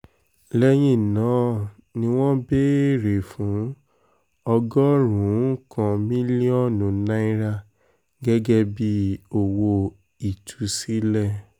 lẹ́yìn náà ni wọ́n béèrè fún ọgọ́rùn-ún kan mílíọ̀nù náírà gẹ́gẹ́ bíi owó ìtúsílẹ̀